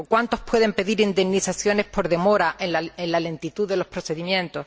¿O cuántos pueden pedir indemnizaciones por demora en la lentitud de los procedimientos?